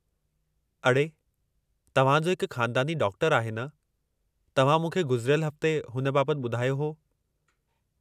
अड़े, तव्हां जो हिकु ख़ानदानी डाक्टरु आहे न? तव्हां मूंखे गुज़िरियल हफ़्ते हुन बाबति ॿुधायो हो।